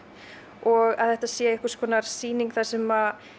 og að þetta sé einhvers konar sýning þar sem